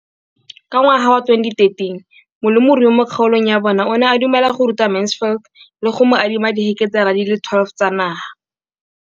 Ka ngwaga wa 2013, molemirui mo kgaolong ya bona o ne a dumela go ruta Mansfield le go mo adima di heketara di le 12 tsa naga.